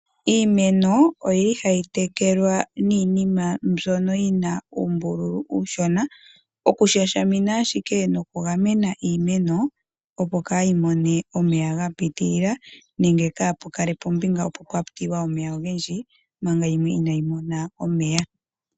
Iimeno oyi li hayi tekelwa niinima mbyono yina uumbululu uusona, okushashamina ashike nokugamena iimeno. Opo kaayi mone omeya ga pitilila nenge kaapu kale puna ombinga opo owa tilwa omeya ogendji, manga yimwe inayi mona omeya.